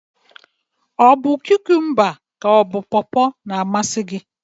Ọ bu kụkụmba ka pọpọ na-amasị gi?